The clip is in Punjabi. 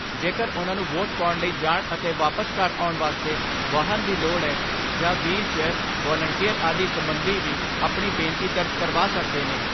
ਜੇਕਰ ਉਨ੍ਹਾਂ ਨੂੰ ਵੋਟ ਪਾਉਣ ਲਈ ਜਾਣ ਅਤੇ ਵਾਪਸ ਘਰ ਆਉਣ ਵਾਸਤੇ ਵਾਹਨ ਦੀ ਲੋੜ ਏ ਜਾਂ ਵਹੀਲ ਚੇਅਰ, ਵਾਲੰਟੀਅਰ ਆਦਿ ਸਬੰਧੀ ਵੀ ਆਪਣੀ ਬੇਨਤੀ ਦਰਜ ਕਰਵਾ ਸਕਦੇ ਨੇ।